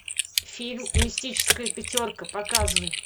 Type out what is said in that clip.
фильм мистическая пятерка показывай